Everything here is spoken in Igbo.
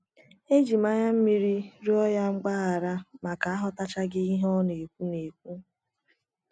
Eji m anya mmiri rịọ ya mgbaghara maka aghọtachaghị ihe ọ na - ekwu na - ekwu.